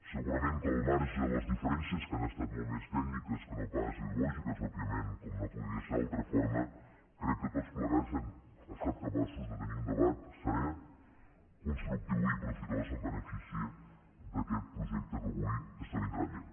segurament que al marge de les diferències que han estat molt més tècniques que no pas ideològiques òbviament com no podria ser d’altra forma crec que tots plegats hem estat capaços de tenir un debat serè constructiu i profitós en benefici d’aquest projecte que avui esdevindrà llei